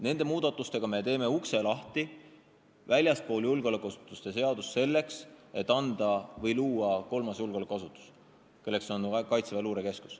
Nende muudatustega me teeme väljaspool julgeolekuasutuste seadust lahti ukse, selleks et luua kolmas julgeolekuasutus, milleks on Kaitseväe luurekeskus.